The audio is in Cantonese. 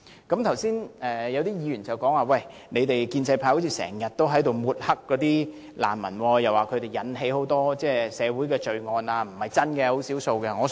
剛才有議員提出，建制派似乎總在抹黑難民，指他們引起很多社會罪案，但這並非事實，只屬少數。